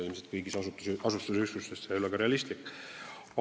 Ilmselt kõigis asustusüksustes ei oleks see ka realistlik.